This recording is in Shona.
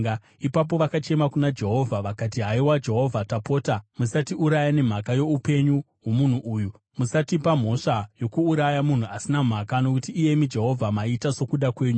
Ipapo vakachema kuna Jehovha vakati, “Haiwa Jehovha, tapota musatiuraya nemhaka youpenyu hwomunhu uyu. Musatipa mhosva yokuuraya munhu asina mhaka, nokuti, iyemi Jehovha maita sokuda kwenyu.”